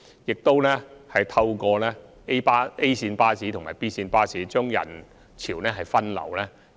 此外，我們亦透過 A 線巴士和 B 線巴士把人潮分流，